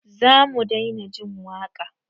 Zamu daina jin waka?